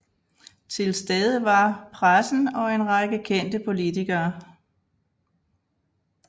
Tilstede var pressen og en række kendte politikere